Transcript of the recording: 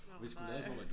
Åh nej